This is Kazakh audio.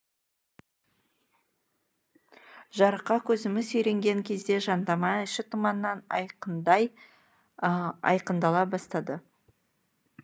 жарыққа көзіміз үйренген кезде жандама іші тұманнан айыққандай айқындала бастады